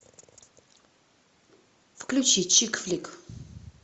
включи чик флик